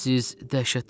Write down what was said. Siz dəhşətli adamsınız.